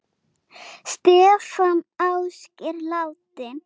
Stefán Ásgeir, látinn.